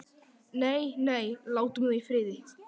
Nei, nei, látum þau í friði.